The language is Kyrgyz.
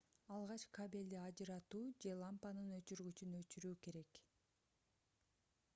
алгач кабелди ажыратуу же лампанын өчүргүчүн өчүрүү керек